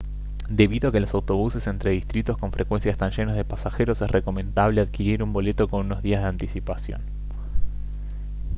debido a que los autobuses entre distritos con frecuencia están llenos de pasajeros es recomendable adquirir un boleto con unos días de anticipación